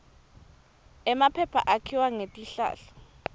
emaphepha akhiwa ngetihlahla